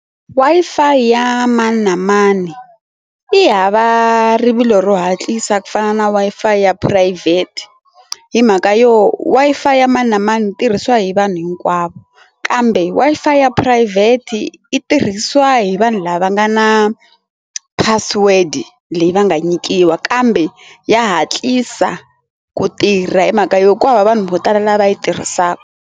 Wi-Fi ya mani na mani yi hava rivilo ro hatlisa ku fana na Wi-Fi ya phurayivhete hi mhaka yo Wi-Fi ya mani na mani yi tirhisiwa hi vanhu hinkwavo kambe Wi-Fi ya phurayivhete yi tirhisiwa hi vanhu lava nga na password leyi va nga nyikiwa kambe ya hatlisa ku tirha hi mhaka yo kwala vanhu vo tala lava yi tirhisaka.